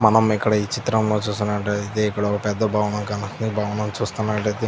మనం ఇక్కడ ఈ చిత్రం లో చుస్కున్నటైతే ఇక్కడ ఒక పెద్ద భవనం కనపడుతుంది. ఈ భవనం చేసుకున్నట్లైతే--